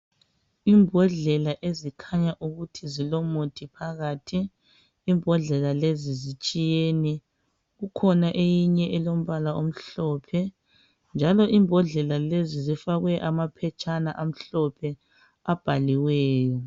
Imbodlela ezikhanya ukuthi zilomuthi phakathi. Imbodlela lezi zitshiyene. Kukhona eyinye elombala omhlophe. Njalo imbodlela lezi zifakwe amaphetshana amhlophe abhaliweyo.